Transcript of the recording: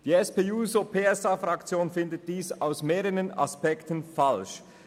Die SP-JUSO-PSA-Fraktion findet dies aus mehreren Gründen falsch.